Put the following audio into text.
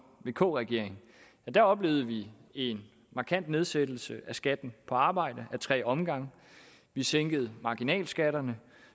vk regeringen der oplevede vi en markant nedsættelse af skatten på arbejde ad tre omgange vi sænkede marginalskatterne